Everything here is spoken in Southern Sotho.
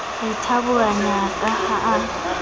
a ithaburanya ka ha a